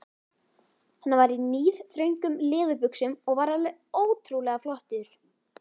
Hann var í níðþröngum leðurbuxum og var alveg ótrúlega flottur.